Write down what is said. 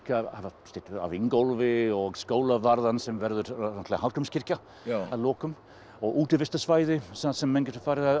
að hafa styttu af Ingólfi og skólavarðan sem verður náttúrulega Hallgrímskirkja að lokum og útivistarsvæði þar sem menn geta